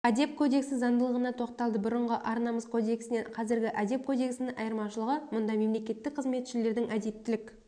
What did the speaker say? әдеп кодексі заңдылығына тоқталды бұрынғы ар-намыс кодексінен қазіргі әдеп кодексінің айырмашылығы мұнда мемлекеттік қызметшілердің әдептілік